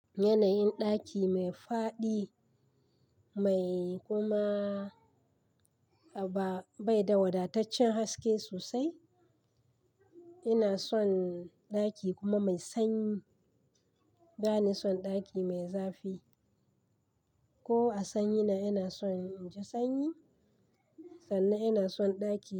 Yanayin ɗaki mai faɗi mai kuma ba, bai da wadataccen haske sosai. Ina son ɗaki kuma mai sanyi, bani son ɗaki mai zafi. Ko a sanyi na ina son in ji sanyi, sannan ina son ɗaki.